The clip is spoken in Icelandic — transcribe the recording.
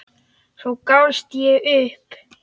Svo gafst ég upp.